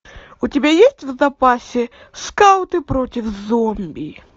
у тебя есть в запасе скауты против зомби